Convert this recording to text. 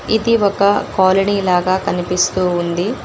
ఇది ఒక కాలనీ లాగా కనిపిస్తూ ఉంది.